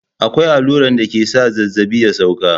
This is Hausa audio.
Akwai alluran dake sa zazzaɓi ya sauka.